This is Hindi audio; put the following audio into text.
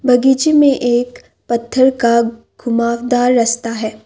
बगीचे में एक पत्थर का घुमावदार रस्ता है।